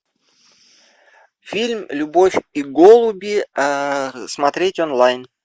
фильм любовь и голуби смотреть онлайн